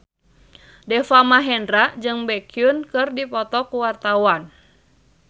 Deva Mahendra jeung Baekhyun keur dipoto ku wartawan